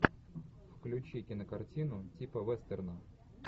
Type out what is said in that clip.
включи кинокартину типа вестерна